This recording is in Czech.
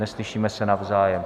Neslyšíme se navzájem.